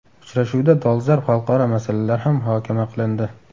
Uchrashuvda dolzarb xalqaro masalalar ham muhokama qilindi.